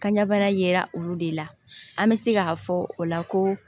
Kanɲɛ bana yera olu de la an bɛ se k'a fɔ o la ko